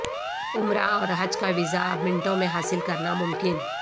عمرہ اور حج کا ویزا اب منٹوں میں حاصل کرنا ممکن